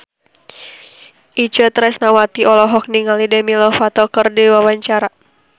Itje Tresnawati olohok ningali Demi Lovato keur diwawancara